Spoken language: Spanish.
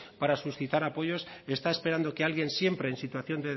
para suscitar apoyos está esperando que alguien siempre en situación